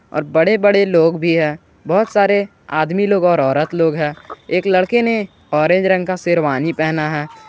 और बड़े बड़े लोग भी हैं बहुत सारे आदमी लोग और औरत लोग हैं एक लड़के ने ऑरेंज रंग का शेरवानी पहना है।